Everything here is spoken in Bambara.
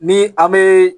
Ni an bee